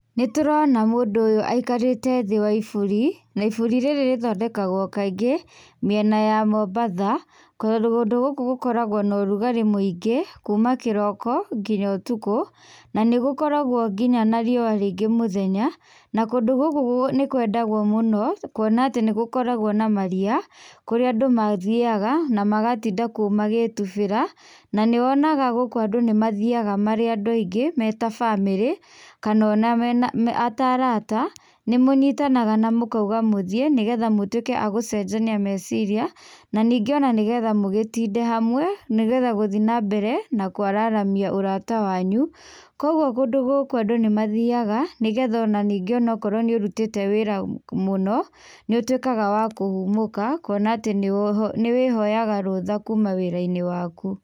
Nĩtũrona mũndũ ũyũ aikarĩte thĩ wa iburi, na iburi rĩrĩ rĩthondekagwo kaingĩ, mĩena ya Mombasa, tondũ kũndũ gũkũ gũkoragwo na ũrugarĩ mũĩngĩ kuma kĩroko nginya ũtukũ, na nĩ gũkoragwo nginya na riũa rĩĩngĩ mũthenya, na kũndũ gũkũ nĩ kwendagwo mũno kuona atĩ nĩ gũkoragwo na maria, kũrĩa andũ mathiaga, na magatinda kuo magĩtubĩra, na nĩwonaga gũkũ andũ nĩ mathiaga marĩ andũ aingĩ me ta bamĩri, kana ona me ta arata, nĩ mũnyitanaga na mũkauga mũthíĩ nĩgetha mũtũĩke agũcenjania meciria, na ningĩ ona nĩgetha mugĩtinde hamwe nĩgetha gũthĩĩ nambere na kũararamia ũrata wanyu. Kũguo kũndũ gũkũ andũ nĩ mathiaga nĩgetha ona ningĩ onokorwo nĩũrutĩte wĩra mũno, niũtwĩkaga wa kũhumũka kũona atĩ nĩ wĩhoyaga rũtha kuma wĩra-ĩnĩ waku.